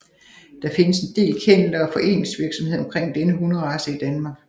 Der findes en del kenneler og foreningsvirksomhed omkring denne hunderace i DK